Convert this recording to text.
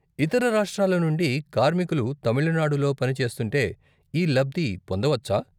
ఇతర రాష్ట్రాల నుండి కార్మికులు తమిళనాడులో పని చేస్తుంటే ఈ లబ్ది పొందవచ్చా?